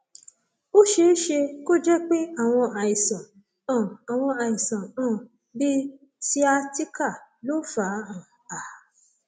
ó ṣeé ṣe kó jẹ pé àwọn àìsàn um àwọn àìsàn um bíi sciatica ló fà um á